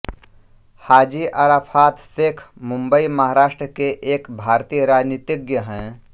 हाजी अरफ़ात शेख मुंबई महाराष्ट्र के एक भारतीय राजनीतिज्ञ हैं